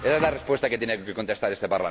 Esa es la respuesta que tiene que contestar este